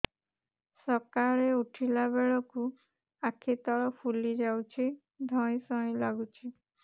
ସକାଳେ ଉଠିଲା ବେଳକୁ ଆଖି ତଳ ଫୁଲି ଯାଉଛି ଧଇଁ ସଇଁ ଲାଗୁଚି